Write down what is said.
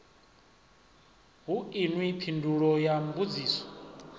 hu inwi phindulo ya mbudziso